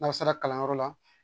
N'aw sera kalanyɔrɔ la